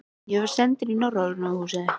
Ég var sendur í Norræna húsið.